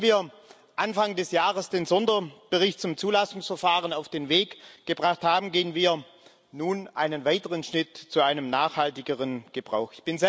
Nachdem wir Anfang des Jahres den Sonderbericht zum Zulassungsverfahren auf den Weg gebracht haben, gehen wir nun einen weiteren Schritt zu einem nachhaltigeren Gebrauch.